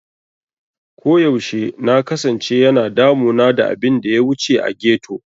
Koyaushe na kasance yana damuna da abin da ya wuce a ghetto.